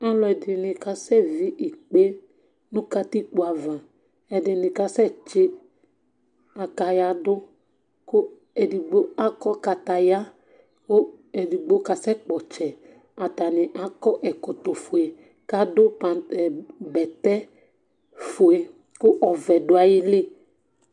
Aluɛdini ka sɛ ví ikpé nu katikpo ava, ɛdini ka sɛ tsi akàya dù ku edigbo akɔ kataya ku edigbo ka sɛ kpɔ ɔtsɛ, atani akɔ ɛkɔtɔ fue k'adu pentalon bɛtɛ̃ fue ku ɔvɛ̃ du ayili